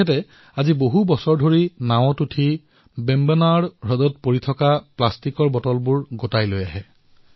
তেওঁ বিগত কেইবা বৰ্ষৰ পৰা নাৱত বেম্বনাড জুৰিলৈ যায় আৰু জুৰিলৈ দলিওৱা প্লাষ্টিকৰ বটল তোলে